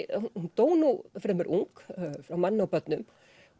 dó nú fremur ung frá manni og börnum